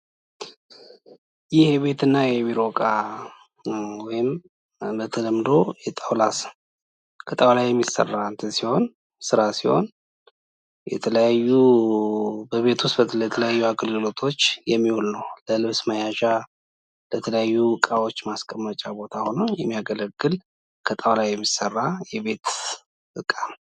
ዘመናዊ የቤት ዕቃዎች ቦታን በአግባቡ ለመጠቀምና ብዙ ተግባራትን በአንድ ላይ ለማከናወን የሚያስችሉ ዲዛይኖች አሏቸው።